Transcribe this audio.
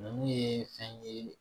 Ninnu ye fɛn ye